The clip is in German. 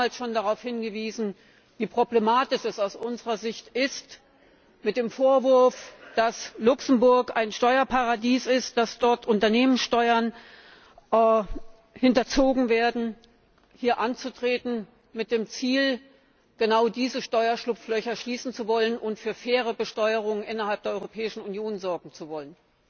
Wir haben damals schon darauf hingewiesen, wie problematisch es angesichts des Vorwurfs, dass Luxemburg ein Steuerparadies ist, dass dort Unternehmenssteuern hinterzogen werden aus unserer Sicht ist, hier mit dem Ziel anzutreten, genau diese Steuerschlupflöcher schließen zu wollen und für faire Besteuerung innerhalb der Europäischen Union sorgen zu wollen.